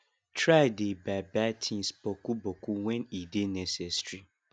try dey buy buy tins boku boku wen e dey necessary